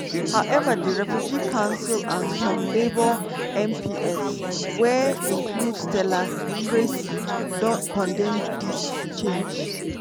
however di refugee council and some labour mps – wey include stella crasy don condemn dis change.